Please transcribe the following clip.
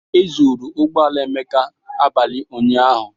E zuru ụgbọ ala Emeka abalị ụnyaahụ